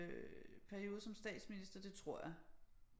Periode som statsminister det tror jeg